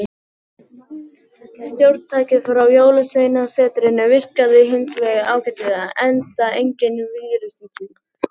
Stjórntækið frá jólsveinasetrinu virkaði hins vegar ágætlega, enda enginn vírus í því.